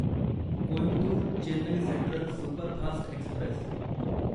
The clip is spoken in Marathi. Coimbatore Chennai central superfast Express